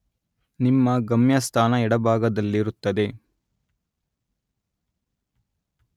ನಿಮ್ಮ ಗಮ್ಯಸ್ಥಾನ ಎಡಭಾಗದಲ್ಲಿರುತ್ತದೆ.